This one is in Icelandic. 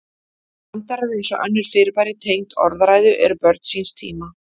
Brandarar, eins og önnur fyrirbæri tengd orðræðu, eru börn síns tíma.